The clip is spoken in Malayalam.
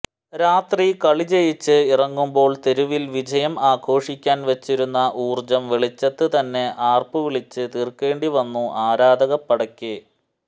രാത്രി കളിജയിച്ച് ഇറങ്ങുമ്പോൾ തെരുവിൽ വിജയം ആഘോഷിക്കാൻ വച്ചിരുന്ന ഊർജം വെളിച്ചത്ത് തന്നെ ആർപ്പുവിളിച്ച് തീർക്കേണ്ടി വന്നു ആരാധകപ്പടയ്ക്ക്